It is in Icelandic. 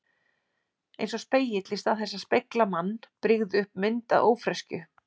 Eins og spegill í stað þess að spegla mann brygði upp mynd af ófreskju.